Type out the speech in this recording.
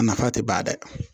A nafa tɛ ban dɛ